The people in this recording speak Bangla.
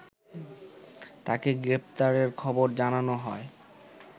তাকে গ্রেপ্তারের খবর জানানো হয়